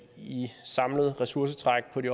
vi